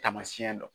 Taamasiyɛn dɔ